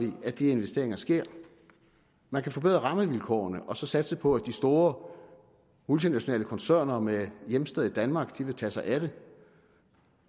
at de investeringer sker man kan forbedre rammevilkårene og så satse på at de store multinationale koncerner med hjemsted i danmark vil tage sig af det